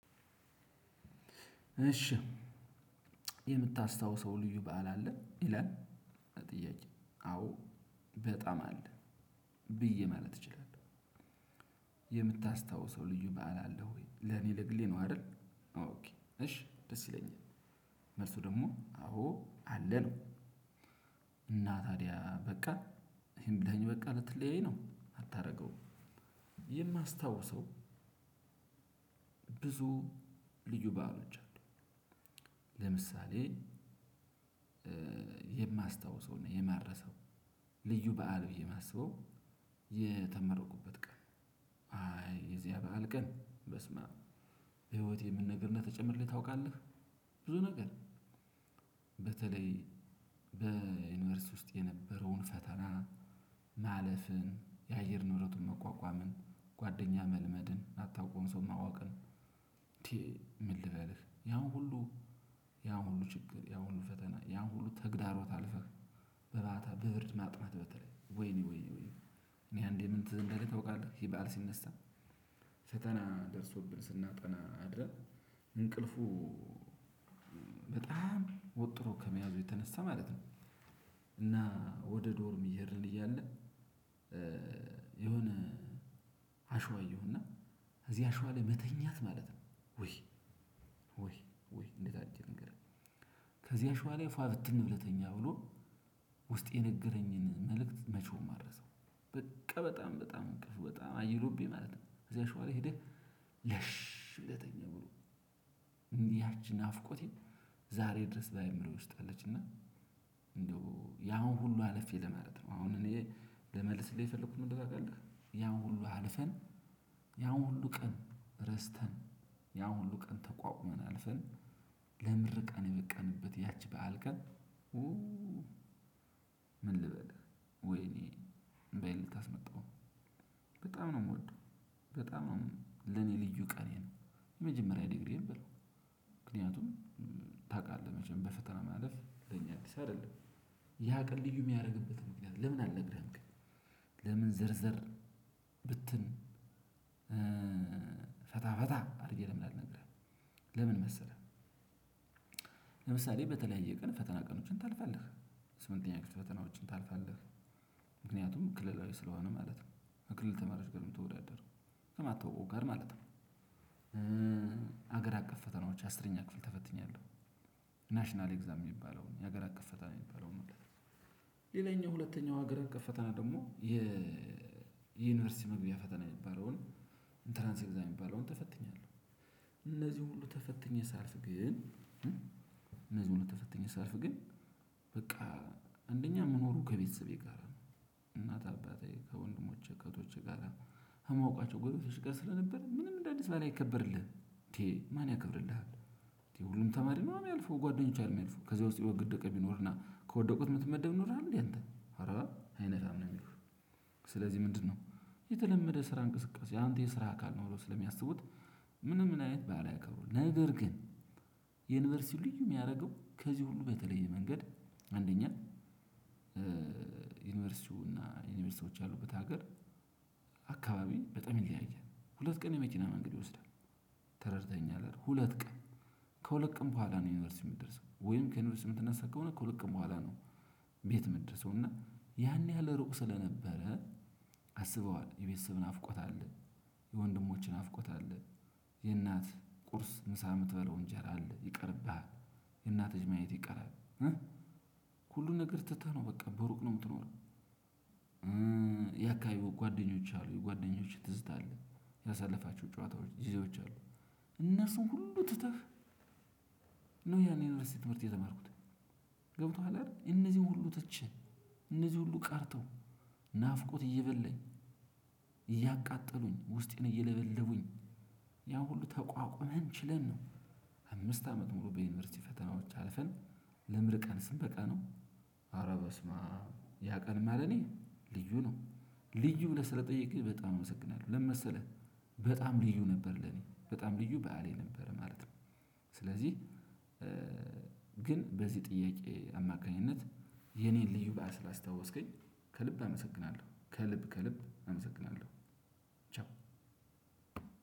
እሺ የምታስታውሰው ልዩ በዓል አለ ይላል ጥያቄ አዎ በጣም አለ ብዬ ማለት እችላለሁ። የምታስታውሰው ልዩ በዓል አለህ ወይ ለእኔ ለግሌ ነው አይደል? ኦኬ እሽ ደስ ይለኛል። መልሱ ደግሞ አወ አለ ነው። እና ታዲያ በቃ ይሄን ብለኸኝ በቃ ልትለያይ ነው አታደርገውም። የማስታውሰው ብዙ ልዩ ባአሎች አሉ። ለምሳሌ የማስታውሰው ነው የማረሰው ልዩ በዓል ብዬ የማስበው የተመረኩበት ቀን አይ የዚያ በዓል ቀን በስመአብ በህይወቴ ምን ነገር እንደተጨመረልኝ ታውቃለህ? ብዙ ነገር በተለይ በዩኒቨርሲቲ ውስጥ የነበረውን ፈተና ማለፍን የአየር ንብረቱን መቋቋምን ጓደኛ መልመድን አታውቀውም ሰው ማወቅን። እንዴ ምን ልበልህ? ያው ሁሉ ያው ሁሉ ችግር ያው ሁሉ ፈተና ያው ሁሉ ተግዳሮት አልፈህ። በማታ በብርድ ማጥናት በተለይ ወይኔ ወይኔ ወይኔ እኔ አንዴ ምን ትዝ እንዳለኝ ታውቃለህ? ይህ ባዓል ሲነሳ ፈተና ደርሶብን ስናጠና አድርግ እንቅልፉ በጣም ወጥሮ ከመያዙ የተነሳ ማለት ነው። እና ወደ ዶርም እየሄድን እያለ። የሆነ አሽዋ እየሁ እና ከዚህ አሽዋ ላይ መተኛት ማለት ነው። ወይ ወይ ወይ እንዴት አድርጌ ልንገርህ? ከዚያ አሸዋ ላይ ፋ ብትል ብለህ ተኛ ብሎ ውስጤ የነገረኝን መልእክት መቼውም አረሰው። በቃ በጣም በጣም እንቅልፉ በጣም አይሎብኝ ማለት ነው። እዚያ አሸዋ ላይ ሄደህ ለሽ ብለህ ተኛ ብሎ። ያቺ ናፍቆቴ ዛሬ ድረስ በአእምሮየ ውስጥ አለች እና። እንደው ያን ሁሉ አለፌ ለማለት ነው አሁን እኔ ለመልስ ልል የፈለኩት ምን እንደሆነ ታውቃለህ? ያው ሁሉ አልፈን። ያው ሁሉ ቀን ረስተን ያን ሁሉ ቀን ተቋቁመን አልፈን ለምርቃን የበቃንበት ያቺ በዓል ቀን። ምን ልበል? ወይኔ እምባዬ ልታስመጣው በጣም ነው የምወደው። በጣም ነው ለኔ ልዩ ቀኔ ነው። የመጀመሪያ ዲግሪ በለው ምክንያቱም ታውቃለህ መቼም በፈተና ማለፍ ለኛ አዲስ አይደለም። ያ ቀን ልዩ የሚያደርግበት ምክንያት ለምን አልነግርህም ግን። ለምን ዝርዝር ብትን ፈታ ፈታ አድርጌ ለምን አልነግርህም። ለምን መሰለህ? ለምሳሌ በተለያየ ቀን የፈተና ቀኞችን ታልፍለህ። የስምንተኛ ክፍል ፈተናዎችን ታልፍለህ። ምክንያቱም ክልላዊ ሥለሆነ ማለት ነው ከክልል ተማሪዎች ጋር ነው የምትወዳደረው ከማታውቀው ጋር ማለት ነው። ሀገር አቀፍ ፈተናዎች አስረኛ ክፍል ተፈትኛለሁ። ናሽናል ኤግዛም የሚባለውን የሀገር አቀፍ ፈተና የሚባለውን ሁላ ሌላኛው ሁለተኛው ሀገር አቀፍ ፈተና ደግሞ የዩኒቨርሲቲ መግቢያ ፈተና የሚባለውን ኢንተራንስ ኤግዛም የሚባለውን ተፈትኛለሁ። እነዚህ ሁሉ ተፈትኜ ሳልፍ ግን። እነዚህ ሁሉ ተፈትኜ ሳልፍ ግን። በቃ አንደኛ ምኖረው ከቤተሰቤ ጋር ነው እናት አባቴ ከወንድሞቼ ከህቶቼ ጋር ከማወቋቸው ጎረቤቶች ጋር ስለነበረ ምንም እንደ አዲስ ባዓል አይከበርልህም እንዴ ማን ያከብርልሃል? እንዴ ሁሉም ተማሪ ነዋ የሚያልፈው ጓደኞች አይደሉ የሚያልፉ ከዚህ ውስጥ የወገ የወደቀ ቢኖር እና ከወደቁት ምትመደብ ኑረሀል እንዴ አንተ አረ አይነፍም ነው የሚሉህ። ሥለዚህ ምንድነው? የተለመደ ስራ እንቅስቃሴ አንተ የስራ አካል ነው ብለው ስለሚያስቡት ምንም አይነት ባዓል አይከብሩም። ነገር ግን የዩኒቨርሲቲው ልዩ የሚያደርገው ከዚህ ሁሉ በተለየ መንገድ። አንደኛ ዩኒቨርሲቲው እና ዩኒቨርሲቲዎች ያሉበት ሀገር አካባቢ በጣም ይለያያል ሁለት ቀን የመኪና መንገድ ይወስዳል። ተረድተህኛል አይደል? ሁለት ቀን ከሁለት ቀን በኋላ ነው ዩኒቨርሲቲ የምትደርሰው ወይም ከዩኒቨርሲቲ የምትነሳ ከሆነ ከሁለት ቀን በኋላ ነው። ቤት ምደርሰው እና ያን ያህል ሩቅ ስለነበረ። አስበዋል የቤተሰብ ናፍቆት አለ። የወንድሞች ናፍቆት የእናት ቁርስ ምሳ የምትበላው እንጀራ አለ ይቀርብሃል። እናትህ ማየት ይቀራል። ሁሉን ነገር ትተህ ነው በቃ በሩቅ ነው የምትኖረው። ያ አካበበው ጓደኞች አሉ የጓደኞቸ ትዝታ አለ። ያሳለፋቸው ጨዋታዎች ጊዜዎች አሉ። እነሱን ሁሉ ትተህ ያን ዩኒቨርሲቲ ትምህርት የተማርኩት። ገብቶሃል አይደል? እነዚህን ሁሉ ትቸ እነዚህ ሁሉ ቀርተው ናፍቆት እየበላኝ እያቃጠሉኝ ውስጤን ነው እየለበለቡኝ። ያ ሁሉ ተቋቁመን ችለን ነው። አምስት አመት ሙሉ በዩኒቨርሲቲ ፈተናዎች አልፈን ለምርቃን ስንበቃ ነው። አረ በስማአብ ያ ቀን እማ እኔ ልዩ ነው ልዩ ብለህ ስለጠየቅህ በጣም አመሰግናለሁ። ለምን መሰለህ? በጣም ልዩ ነበር ለኔ በጣም ልዩ በዓሌ ነበር ማለት ነው። ሥለዚህ ግን በዚህ ጥያቄ አማካኝነት የኔን ልዩ ባዓል ስላስታወስከኝ ከልብ አመሰግናለሁ ከልብ ከልብ አመሰግናለሁ። ቻው።